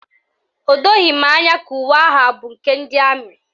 O doghi m anya ka uwe ahụ abụ nke ndị amị